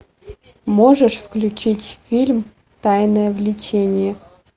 можешь включить фильм тайное влечение